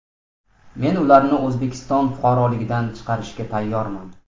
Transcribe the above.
Men ularni O‘zbekiston fuqaroligidan chiqarishga tayyorman.